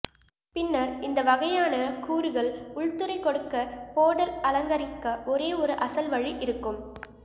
பின்னர் இந்த வகையான கூறுகள் உள்துறை கொடுக்க போர்டல் அலங்கரிக்க ஒரே ஒரு அசல் வழி இருக்கும்